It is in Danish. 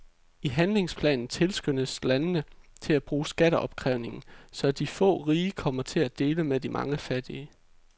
I handlingsplanen tilskyndes landene til at bruge skatteopkrævning, så de få rige kommer til at dele med de mange fattige.